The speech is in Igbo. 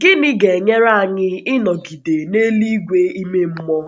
Gịnị ga-enyere anyị ịnọgide na eluigwe ime mmụọ?